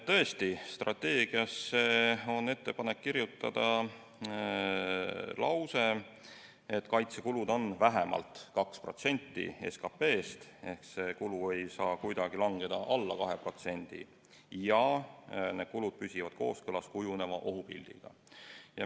Tõesti, strateegiasse on ettepanek kirjutada lause, et kaitsekulud on vähemalt 2% SKT-st, st need kulud ei saa kuidagi langeda alla 2%, ja peavad püsima kooskõlas kujuneva ohupildiga.